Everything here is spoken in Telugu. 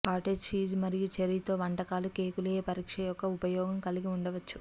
కాటేజ్ చీజ్ మరియు చెర్రీ తో వంటకాలు కేకులు ఏ పరీక్ష యొక్క ఉపయోగం కలిగి ఉండవచ్చు